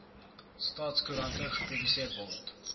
staatskoerant gepubliseer word